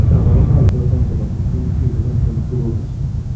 kabarunaik choton chebo 15q11.2 ko achon ?